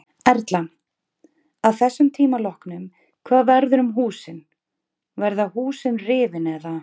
Erla: Að þessum tíma loknum hvað verður um húsin, verða húsin rifin eða?